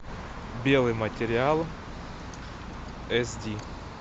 белый материал эс ди